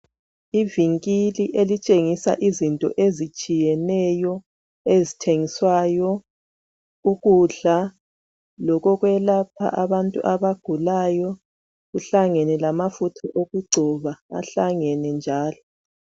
Ivinkili elitshengisa izinto ezitshiyeneyo ,ezithengiswayo, ukudla, lokokwelapha abantu abagulayo .Kuhlangene lamafutha okugcoba, ahlangene njalo.